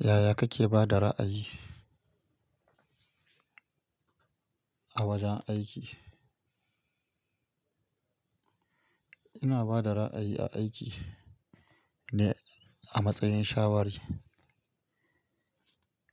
Yaya kake ba da ra'ayi a wajen aiki? Ina ba da ra'ayi a aiki ne a matsayin shawari,